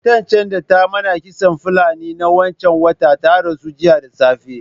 Matan can da ta mana kitson Fulani na wancan watan ta rasu jiya da safe.